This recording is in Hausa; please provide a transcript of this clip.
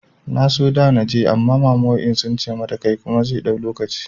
Na so da naje amma mama wai in tsince mata kai kuma zai ɗau lokaci